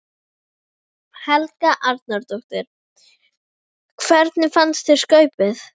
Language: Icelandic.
Helga Arnardóttir: Hvernig fannst þér skaupið?